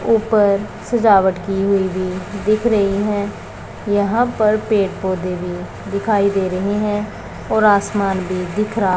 ऊपर सजावट की हुई भी दिख रही है यहां पर पेड़ पौधे भी दिखाई दे रही हैं और आसमान भी दिख रहा--